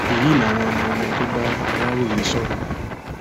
èyí làwọn ohun tó bá aláròye sọrọ